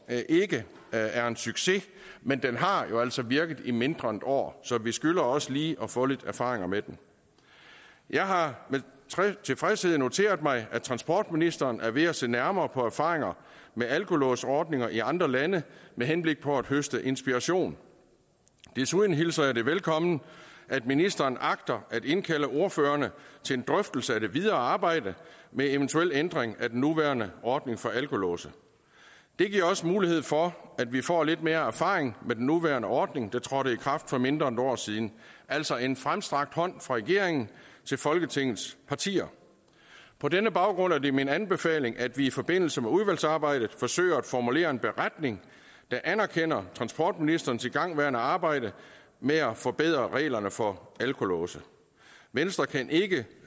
ikke er en succes men den har jo altså virket i mindre end et år så vi skylder også lige at få lidt erfaringer med den jeg har med tilfredshed noteret mig at transportministeren er ved at se nærmere på erfaringer med alkolåsordninger i andre lande med henblik på at høste inspiration desuden hilser jeg det velkommen at ministeren agter at indkalde ordførerne til en drøftelse af det videre arbejde med eventuel ændring af den nuværende ordning for alkolåse det giver også mulighed for at vi får lidt mere erfaring med den nuværende ordning der trådte i kraft for mindre end et år siden altså en fremstrakt hånd fra regeringen til folketingets partier på denne baggrund er det min anbefaling at vi i forbindelse med udvalgsarbejdet forsøger at formulere en beretning der anerkender transportministerens igangværende arbejde med at forbedre reglerne for alkolåse venstre kan ikke